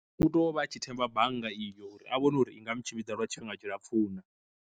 U tou vha a tshi themba bannga iyo uri a vhone uri inga mu tshimbidza lwa tshifhinga tshi lapfhu na.